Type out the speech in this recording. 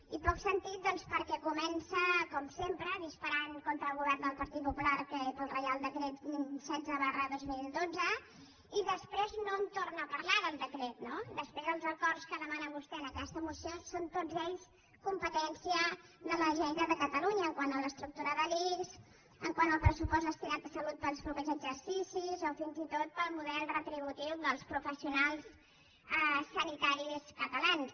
i poc sentit doncs perquè comença com sempre disparant contra el govern del partit popular pel reial decret setze dos mil dotze i després no en torna a parlar del decret no després els acords que demana vostè en aquesta moció són tots ells competència de la generalitat de catalunya quant a l’estructura de l’ics quant al pressupost destinat a salut per als següents exercicis o fins i tot pel model retributiu dels professionals sanitaris catalans